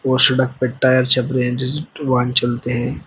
और सड़क पे टायर छप रहे हैं जिस वाहन चलते हैं।